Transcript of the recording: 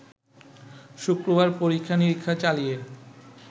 শুক্রবার পরীক্ষা-নিরীক্ষা চালিয়ে